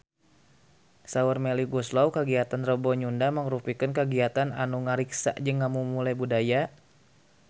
Saur Melly Goeslaw kagiatan Rebo Nyunda mangrupikeun kagiatan anu ngariksa jeung ngamumule budaya Sunda